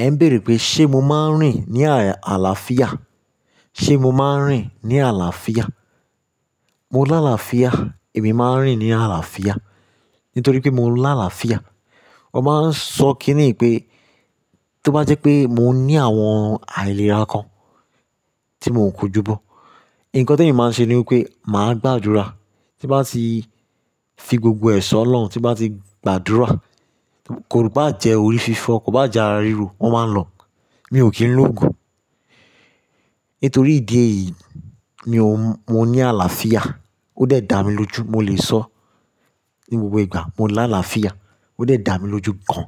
Ẹ ń béèrè pé ṣe mo máa ń rìn ní àlàáfíà? Ṣe mo máa ń rìn ní àlàáfíà? Mo láàlàáfíà, èmi máa ń rìn ní àlàáfíà nítorí pé mo láàlàáfíà. Mo máa ń sọ kíni pé tó bá jẹ́ pé mo ní àwọn àìlera kan tí mò ń kojúbọ́, nǹkan tí èmi máa n ṣe ni wípé màá gbàdúrà tí n bá ti fi gbogbo ẹ̀ ṣọ́ lọ́hun tí n bá ti gbàdúrà, kò bá jẹ́ orí fífọ́, kò bá jẹ́ ara ríro, wọ́n máa lọ. Mi ò kí ń lò òogùn. Nítorí ìdí èyí, mi ò, mo ní àlàáfíà. Ó dẹ̀ da mi lójú, mo lè sọ ní gbogbo ìgbà, mo láàlàáfíà. Ó dẹ̀ da mi lójú gan.